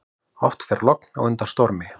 Oft fer logn á undan stormi.